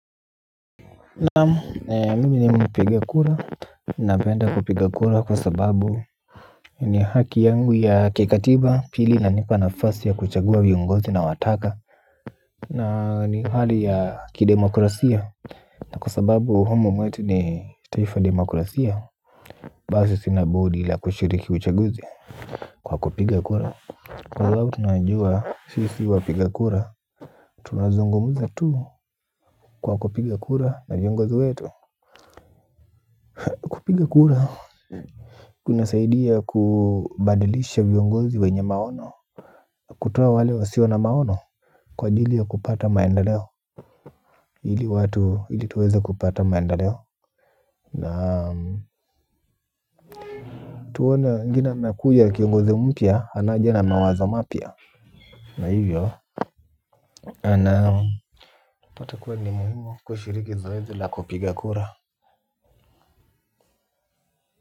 Na mimi ni mpiga kura. Napenda kupiga kura kwa sababu ni haki yangu ya kikatiba pili inanipa nafasi ya kuchagua viongozi nawataka. Na ni hali ya kidemokrasia. Na kwa sababu humo mwetu ni taifa la demokrasia. Basi sina budi la kushiriki uchaguzi kwa kupiga kura. Angalau tunajua sisi wapikakura. Tunazungumza tu kwa kupiga kura na viongozi wetu. Kupiga kura kunasaidia kubadilisha viongozi wenye maono. Kutoa wale wasio na maono kwa ajili ya kupata maendeleo ili tuweze kupata maendeleo na tuone wengine wanakuja kiongozi mpya anaja na mawazo mapya. Na hivyo ana unapata kuwa ni muhimu kushiriki zoezi la kupiga kura.